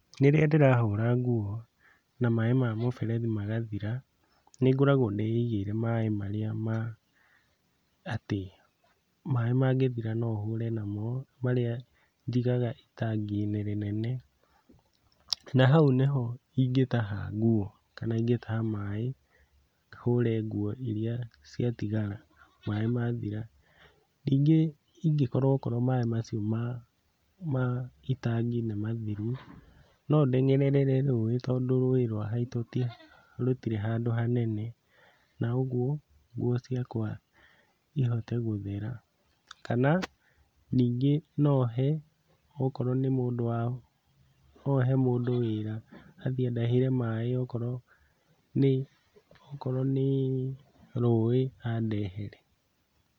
Rĩrĩa ndĩrahũra nguo na maĩ ma mũberethi magathira, nĩngoragwo ndĩigĩire maĩ marĩa ma atĩ maĩ mangĩthira no hũre namo, marĩa njigaga itangi-inĩ rĩnene, na hau nĩho ingĩtaha nguo kana ingĩtaha maĩ hũre nguo iria ciatigara maĩ mathira. Ningĩ ingĩkorwo okorwo maĩ macio ma ma itangi nĩmathiru, no ndengerere rũĩ tondũ rũĩ rwa haitũ rũtirĩ handũ hanene, na ũguo nguo ciakwa ihote gũthera, kana ningĩ no he akorwo wa, no he mũndũ wĩra athiĩ andahĩre maĩ okorwo nĩ, okorwo nĩ rũĩ andehere.